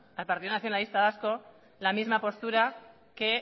al partido nacionalista vasco la misma postura que